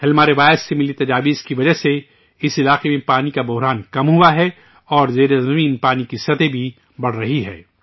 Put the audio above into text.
ہلما روایت سے ملے مشوروں کی وجہ سے اس شعبے میں پانی کا بحران کم ہوا ہے اور زیر زمین پانی کی سطح بھی بڑھ رہی ہے